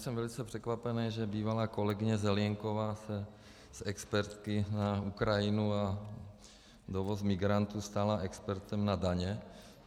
Jsem velice překvapený, že bývalá kolegyně Zelienková se z expertky na Ukrajinu a dovoz migrantů stala expertem na daně.